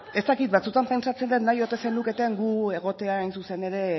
ez dakit batzuetan pentsatzen dut nahi ote zenuketen gu egotea hain zuzen ere